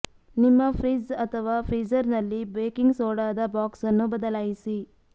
ನಿಮ್ಮ ಫ್ರಿಜ್ ಅಥವಾ ಫ್ರೀಜರ್ನಲ್ಲಿ ಬೇಕಿಂಗ್ ಸೋಡಾದ ಬಾಕ್ಸ್ ಅನ್ನು ಬದಲಾಯಿಸಿ